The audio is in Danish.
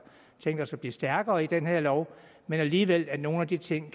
stærkere i den her lov men alligevel kan nogle af de ting